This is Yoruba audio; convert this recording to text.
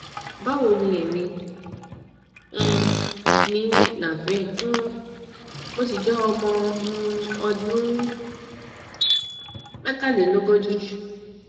báwo ni èmi um ni naveen um mo sì jẹ ọmọ um ọdún mẹtàlélógójì